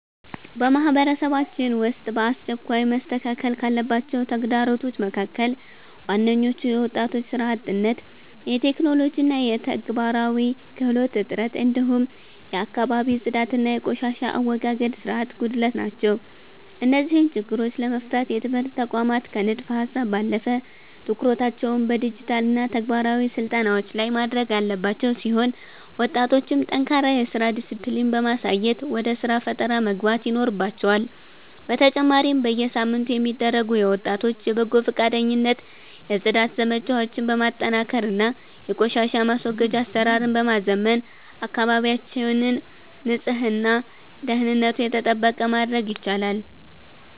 በማህበረሰባችን ውስጥ በአስቸኳይ መስተካከል ካለባቸው ተግዳሮቶች መካከል ዋነኞቹ የወጣቶች ሥራ አጥነት፣ የቴክኖሎጂና የተግባራዊ ክህሎት እጥረት፣ እንዲሁም የአካባቢ ጽዳትና የቆሻሻ አወጋገድ ሥርዓት ጉድለት ናቸው። እነዚህን ችግሮች ለመፍታት የትምህርት ተቋማት ከንድፈ-ሀሳብ ባለፈ ትኩረታቸውን በዲጂታልና ተግባራዊ ስልጠናዎች ላይ ማድረግ ያለባቸው ሲሆን፣ ወጣቶችም ጠንካራ የሥራ ዲስፕሊን በማሳየት ወደ ሥራ ፈጠራ መግባት ይኖርባቸዋል፤ በተጨማሪም በየሳምንቱ የሚደረጉ የወጣቶች የበጎ ፈቃደኝነት የጽዳት ዘመቻዎችን በማጠናከርና የቆሻሻ ማስወገጃ አሰራርን በማዘመን አካባቢያችንን ንጹህና ደህንነቱ የተጠበቀ ማድረግ ይቻላል።